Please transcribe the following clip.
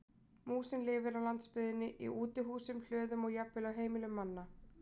Músin lifir á landsbyggðinni í útihúsum, hlöðum og jafnvel á heimilum manna.